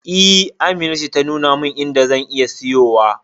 E, Amina ce ta nuna min inda zan iya siyowa.